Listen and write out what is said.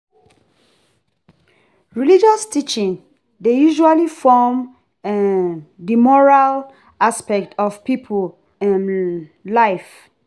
Religious teaching dey usually form um di moral aspect of pipo um life